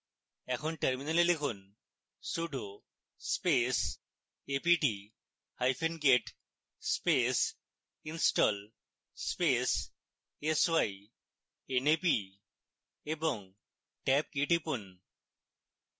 এখন terminal লিখুন sudo space a p t hyphen get space install space s y n a p এবং tab key টিপুন